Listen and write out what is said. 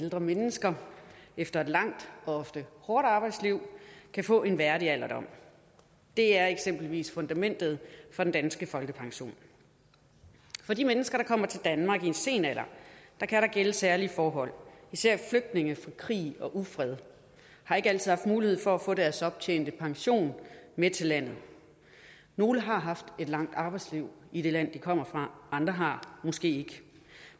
at ældre mennesker efter et langt og ofte hårdt arbejdsliv kan få en værdig alderdom det er eksempelvis fundamentet for den danske folkepension for de mennesker der kommer til danmark i en sen alder kan der gælde særlige forhold især flygtninge fra krig og ufred har ikke altid haft mulighed for at få deres optjente pension med til landet nogle har haft et langt arbejdsliv i det land de kommer fra andre har måske ikke